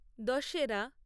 Dussehra